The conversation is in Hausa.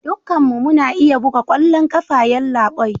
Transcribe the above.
Dukkanmu muna iya buga kwallon kafa yallabai